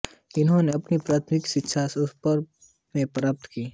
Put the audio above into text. इन्होने अपनी प्राथमिक शिक्षा सोपोर में प्राप्त की